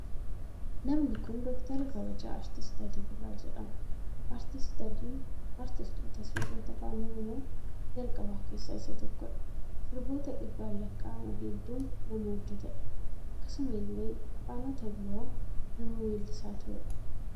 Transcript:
Namni kun Dooktara kabajaa Aartist Alii Birraa jedhama. Aartist Aliin aastistoota sirboota afaan Oromoo jalqabaa keessaa isa tokkodha. Sirboota dhibbaan lakkaa'aman hedduu nama hojjeteedha. Akkasuma illee afaanota biroo nama weellisaa tureedha.